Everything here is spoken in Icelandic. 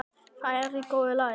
Það er í góðu lagi